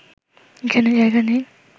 এখানে জায়গা নেই